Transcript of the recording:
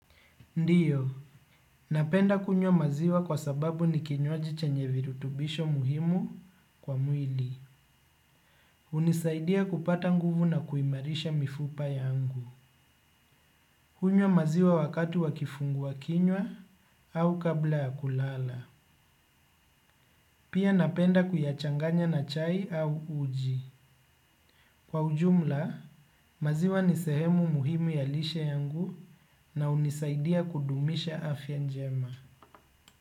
Ndio, napenda kunywa maziwa kwa sababu ni kinywaji chenye virutubisho muhimu kwa mwili. Hunisaidia kupata nguvu na kuimarisha mifupa yangu. Hunywa maziwa wakati wa kifungua kinywa au kabla ya kulala. Pia napenda kuyachanganya na chai au uji. Kwa ujumla, maziwa ni sehemu muhimu ya lishe yangu na hunisaidia kudumisha afya njema.